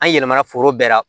An yɛlɛmana foro bɛɛ la